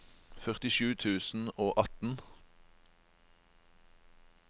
førtisju tusen og atten